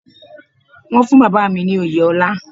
Wọ́n fún Bàbá mi ní oyè ọlá.